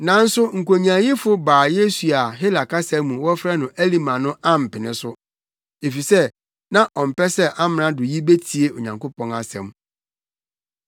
Nanso nkonyaayifo Bar-Yesu a Hela kasa mu wɔfrɛ no Elima no ampene so, efisɛ na ɔmpɛ sɛ amrado yi betie Onyankopɔn asɛm.